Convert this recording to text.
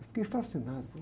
Fiquei fascinado.